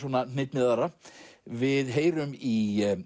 hnitmiðaðra við heyrum í